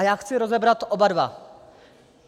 A já chci rozebrat oba dva.